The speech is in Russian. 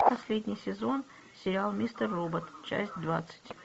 последний сезон сериал мистер робот часть двадцать